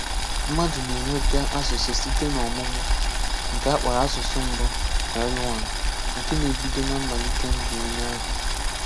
Mmádụ̀ na-enweta asụ̀sụ́ site n’ọ̀mụ́mụ́; nke a kpọ̀rọ̀ asụ̀sụ́ mbù (L1), nke na-ebídò na mmálítè ndù onye ahụ.